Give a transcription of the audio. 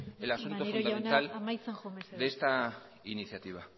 el asunto fundamental de esta iniciativa